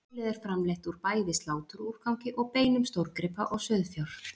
mjölið er framleitt úr bæði sláturúrgangi og beinum stórgripa og sauðfjár